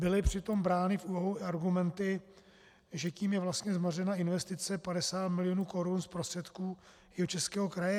Byly přitom brány v úvahu i argumenty, že tím je vlastně zmařena investice 50 milionů korun z prostředků Jihočeského kraje?